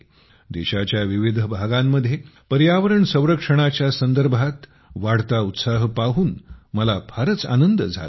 देशाच्या विविध भागांमध्ये पर्यावरण संरक्षणाच्या संदर्भात वाढता उत्साह पाहून मला फारच आनंद झाला आहे